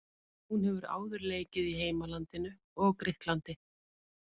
Hún hefur áður leikið í heimalandinu og Grikklandi.